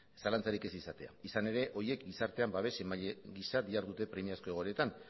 zalantzarik ez izatea izan ere horiek gizartean babes emaile giza dihardute premiazko egoeretan